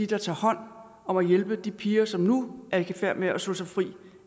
der tager hånd om at hjælpe de piger som nu er i færd med at slå sig fri